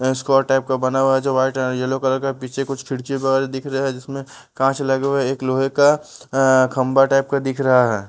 Escort type का बना हुआ है जो वाइट येलो कलर का पीछे कुछ खिड़की वगैरा दिख रहा है जिसमें कांच लगे हुए है एक लोहे का आ खंभा टाइप का दिख रहा है।